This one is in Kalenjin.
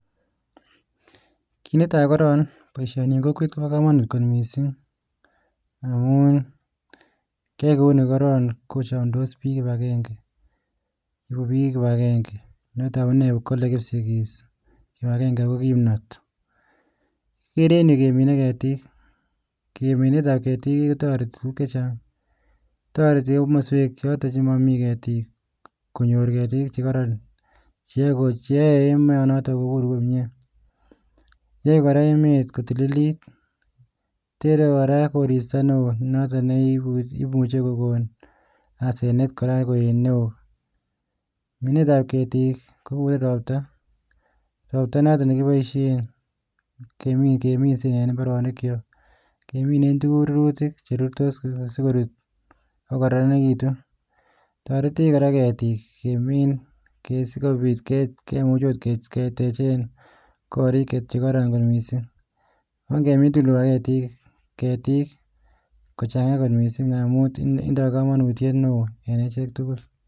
Kit netai koron, boisioni eng kokwet koba kamanut kot missing amun kiyoe kouni koron kochamdos biik kibagenge, egu biik kibagenge notok amune kole kipsigis kibagenge ko kimnot. Gere ennyu keminei ketik. Keminet ab ketik kotoreti tuguk chechang. Toreti eng kimaswek chotok chemami ketik konyor ketik chekoron cheae kot cheae emo notok kogur komnye. Yoe kora emet kotililit. Tere kora koristo neo notok neibu imuchei kogon asenet kora koek neo. Minet ab ketik kouen robta, robta notok nekiboisie keminsei eng imbaronikyok. Kemine tuguk rurutik cherurtos sigorur ago koraranitu. Toretech kora ketik kemin sikobit kemuch kot ketechen korik kot chekororon missing. Ongemin tugul kibaketik ketik kochang'a kot missing amun tinye indoi kamanutiet neo en echek tugul.